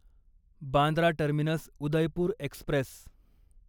Bandra terminus Udaipur Express